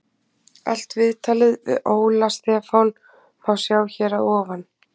Allt viðtalið við Óla Stefán má sjá hér að ofan.